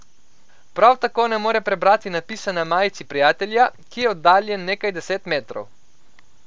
Prav tako ne more prebrati napisa na majici prijatelja, ki je oddaljen nekaj deset metrov.